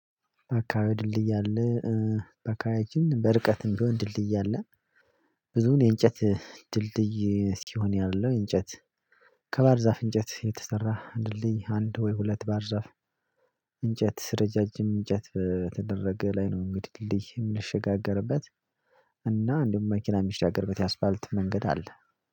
አካባቢ ድልድይ አለ። ኤ በአካባቢያችን፣ በርቀትም ቢሆን፣ ድልድይ አለ። ብዙን የእንጨት ድልድይ እስክሆን ያለው እንጨት ከባህርዛፍ እንጨት የተሰራ ድልድይ፣ አንድ ወይ ሁለት ባህርዛፍ እንጨት፣ ረጃጅም እንጨት በተደረገ ላይ ነው። እንግዲህ፣ ድልድይ የምንሸጋገርበት እና እንደውም፣ መኪና የሚሻገርበት የአስፋልት መንገድ አለ።